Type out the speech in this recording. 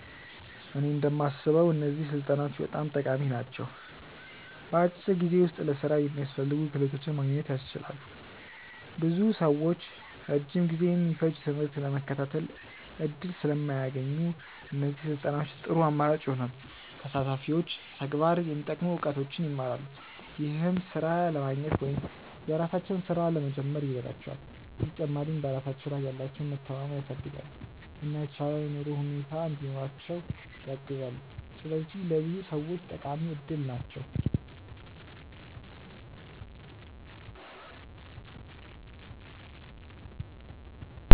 እኔ እንደማስበው እነዚህ ስልጠናዎች በጣም ጠቃሚ ናቸው። በአጭር ጊዜ ውስጥ ለሥራ የሚያስፈልጉ ክህሎቶችን ማግኘት ያስችላሉ። ብዙ ሰዎች ረጅም ጊዜ የሚፈጅ ትምህርት ለመከታተል እድል ስለማያገኙ፣ እነዚህ ስልጠናዎች ጥሩ አማራጭ ይሆናሉ። ተሳታፊዎች በተግባር የሚጠቅሙ እውቀቶችን ይማራሉ፣ ይህም ሥራ ለማግኘት ወይም የራሳቸውን ሥራ ለመጀመር ይረዳቸዋል። በተጨማሪም በራሳቸው ላይ ያላቸውን መተማመን ያሳድጋሉ፣ እና የተሻለ የኑሮ ሁኔታ እንዲኖራቸው ያግዛሉ። ስለዚህ ለብዙ ሰዎች ጠቃሚ እድል ናቸው።